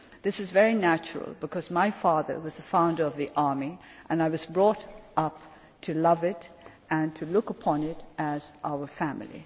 This is very natural, because my father was a founder of the army, and I was brought up to love it and to look upon it as our family.